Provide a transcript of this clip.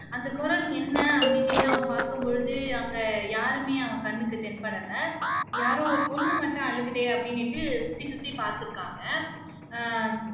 அந்து குரல் என்ன அப்படின்னுட்டு அவன் பாக்கும் பொழுது அங்க யாருமே அவன் கண்ணுக்கு தென்படல யாரோ ஒரு பொண்ணு மட்டும் அழுகுதேன்னு சுத்தி சுத்தி பாத்துருக்காங்க ஆஹ்